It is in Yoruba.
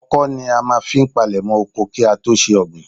Ọkọ́ ni a máa ń fi palèmọ́ oko kí á tó ṣe ọ̀gbìn.